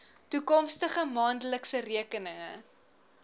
toekomstige maandelikse rekeninge